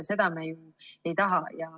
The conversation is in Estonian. Seda me ju ei taha.